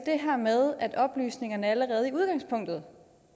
her med at oplysningerne allerede i udgangspunktet